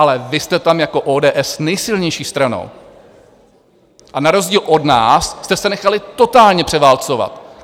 Ale vy jste tam jako ODS nejsilnější stranou a na rozdíl od nás jste se nechali totálně převálcovat!